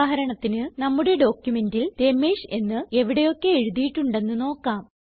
ഉദാഹരണത്തിന് നമ്മുടെ ഡോക്യുമെന്റിൽ രമേഷ് എന്ന് എവിടെയൊക്കെ എഴുതിയിട്ടുണ്ടെന്ന് നോക്കാം